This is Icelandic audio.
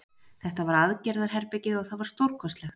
Þetta var aðgerðarherbergið og það var stórkostlegt.